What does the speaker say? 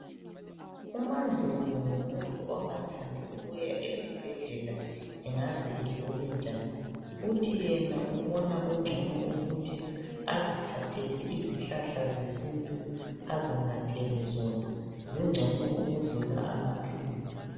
uMaNdlovu ngumuntu ongathandi ukuya esibhedlela egule njani uthi yena ubona kungcono ukuthi azithathele izihlahla zesintu azinathele zona zingcono ukudlula amaphilisi